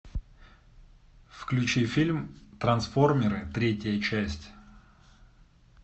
включи фильм трансформеры третья часть